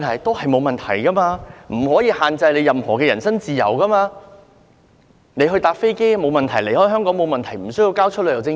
當局不可限制其人身自由，他乘搭飛機離開香港也沒有問題，也不需要交出旅遊證件。